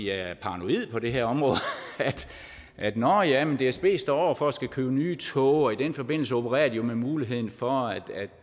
er paranoid på det her område at nå ja dsb står over for at skulle købe nye tog og i den forbindelse opererer de med muligheden for